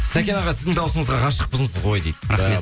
сәкен аға сіздің дауысыңызға ғашықпыз ғой дейді рахмет